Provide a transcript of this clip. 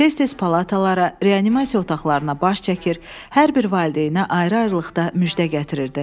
Tez-tez palatalara, reanimasiya otaqlarına baş çəkir, hər bir valideynə ayrı-ayrılıqda müjdə gətirirdi.